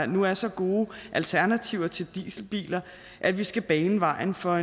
nu er så gode alternativer til dieselbiler at vi skal bane vejen for